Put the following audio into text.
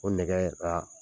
O nɛgɛɛ ra